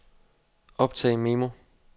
optag memo